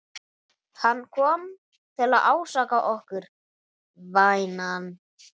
Hann kom til að ásaka okkur, vænan.